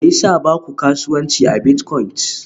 Me yasa ba ku kasuwanci a biltcoins?